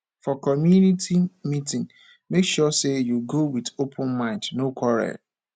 for community meeting make sure say you go with open mind no quarrel